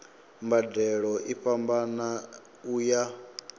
mbadelo i fhambana u ya